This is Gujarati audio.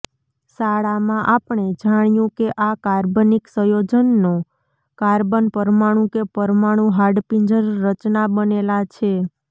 શાળામાં આપણે જાણ્યું કે આ કાર્બનિક સંયોજનો કાર્બન પરમાણુ કે પરમાણુ હાડપિંજર રચના બનેલા છે